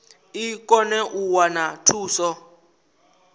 i kone u wana thuso